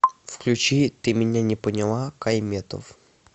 включи ты меня не поняла кай метов